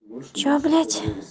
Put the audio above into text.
что блять